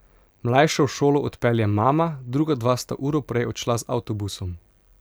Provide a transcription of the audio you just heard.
Mlajše v šolo odpelje mama, druga dva sta uro prej odšla z avtobusom.